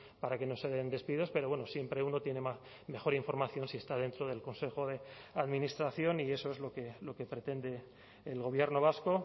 para que no se den despidos pero bueno siempre uno tiene mejor información si está dentro del consejo de administración y eso es lo que pretende el gobierno vasco